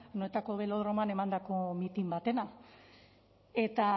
anoetako belodromoan emandako mitin batena eta